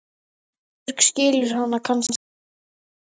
Ísbjörg skilur hana kannski ekki núna.